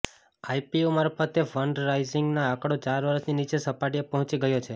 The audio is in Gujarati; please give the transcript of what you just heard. આઈપીઓ મારફતે ફંડ રાઇઝિંગનો આંકડો ચાર વર્ષની નીચી સપાટીએ પહોંચી ગયો છે